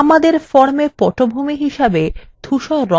আমাদের formএ পটভূমি হিসেবে ধুসর রং নির্বাচন করা যাক